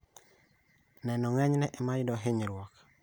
Neno ng'enyne emayudo hinyruok